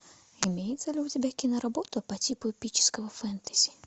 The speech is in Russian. имеется ли у тебя киноработа по типу эпического фэнтези